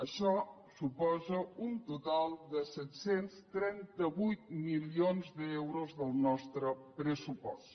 això suposa un total set cents i trenta vuit milions d’euros del nostre pressupost